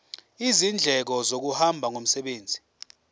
izindleko zokuhamba ngomsebenzi